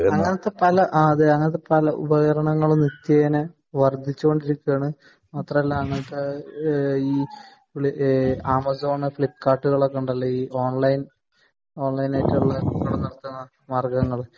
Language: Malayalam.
അങ്ങിനത്തെ പല ആ അതെ അങ്ങിനത്തെ പല ഉപകരണങ്ങളും നിത്യേന വർധിച്ചുകൊണ്ടിരിക്കേണ് മാത്രല്ല അങ്ങിനത്തെ ആഹ് ഈ ആമസോൺ ഫ്ലിപ്കാർട്ടുകൾ ഒക്കെ ഉണ്ടല്ലോ ഈ ഓൺലൈൻ ഓൺലൈനായിട്ട് മാർഗങ്ങള്